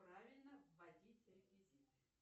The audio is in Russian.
правильно вводить реквизиты